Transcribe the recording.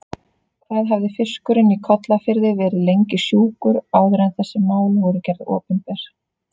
Hvað hafði fiskurinn í Kollafirði verið lengi sjúkur áður en þessi mál voru gerð opinber?